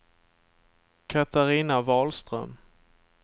Katarina Wahlström